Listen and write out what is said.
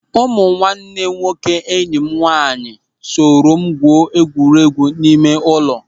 Ụmụ nwanne nwoke enyi m nwaanyị soro m gwuo egwuregwu ime ụlọ.